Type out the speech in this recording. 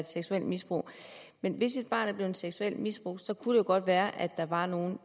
seksuelt misbrugt men hvis et barn er blevet seksuelt misbrugt kunne det jo godt være at der var nogen